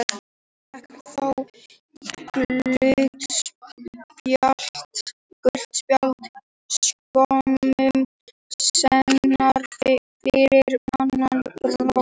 Hann fékk þó gult spjald skömmu seinna fyrir annað brot.